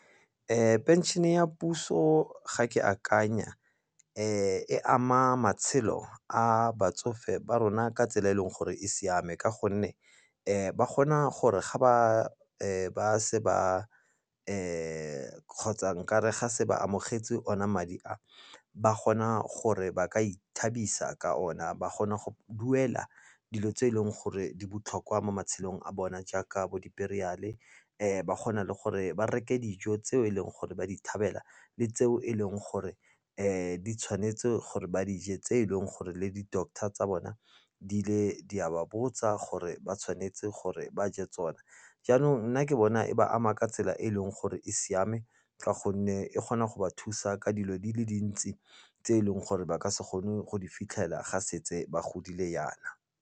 Phenšene ya puso ga ke akanya e ama matshelo a batsofe ba rona ka tsela e e leng gore e siame ka gonne ba kgona gore ga ba se ba kgotsa nkare ga se ba amogetse ona madi a ba kgona gore ba ka ithabisa ka ona. Ba kgona go duela dilo tse e leng gore di botlhokwa mo matshelong a bona jaaka bo di-burial-e, ba kgona le gore ba reke dijo tseo e leng gore ba di thabela le tseo e leng gore di tshwanetse gore ba dije, tse e leng gore le di-doctor tsa bona di le di a ba botsa gore ba tshwanetse gore ba je tsone. Jaanong nna ke bona e ba ama ka tsela e e leng gore e siame ka gonne e kgona go ba thusa ka dilo di le dintsi tse e leng gore ba ka se kgone go di fitlhela ga setse ba godile jaana.